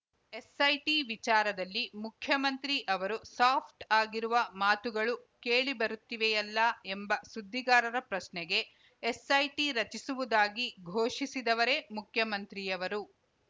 SIT ವಿಚಾರದಲ್ಲಿ ಮುಖ್ಯಮಂತ್ರಿ ಅವರು ಸಾಫ್ಟ್‌ ಆಗಿರುವ ಮಾತುಗಳು ಕೇಳುಬರುತ್ತಿವೆಯಲ್ಲಾ ಎಂಬ ಸುದ್ದಿಗಾರರ ಪ್ರಶ್ನೆಗೆ ಎಸ್‌ಐಟಿ ರಚಿಸುವುದಾಗಿ ಘೋಷಿಸಿದವರೆ ಮುಖ್ಯಮಂತ್ರಿಯವರು